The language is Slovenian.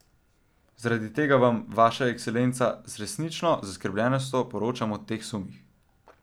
Zaradi tega Vam, Vaša ekscelenca, z resnično zaskrbljenostjo poročam o teh sumih.